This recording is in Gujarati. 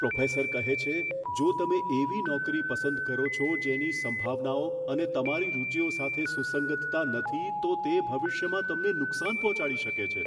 પ્રોફેસર કહે છે, જો તમે એવી નોકરી પસંદ કરો છો જેની સંભાવનાઓ અને તમારી રુચિઓ સાથે સુસંગતતા નથી, તો તે ભવિષ્યમાં તમને નુકસાન પહોંચાડી શકે છે.